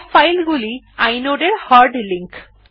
সব ফাইলগুলি ই inode এর হার্ড লিঙ্ক